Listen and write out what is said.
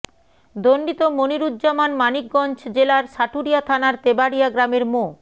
দণ্ডিত মনিরুজ্জামান মানিকগঞ্জ জেলার সাটুরিয়া থানার তেবাড়ীয়া গ্রামের মো